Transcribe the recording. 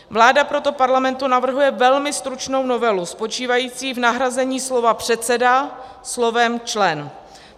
Vláda proto Parlamentu navrhuje velmi stručnou novelu spočívající v nahrazení slova "předseda" slovem "člen".